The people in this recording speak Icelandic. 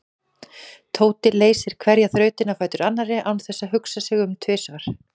Tóti leysti hverja þrautina á fætur annarri án þess að hugsa sig um tvisvar.